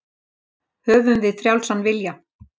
Höfum við frjálsan vilja?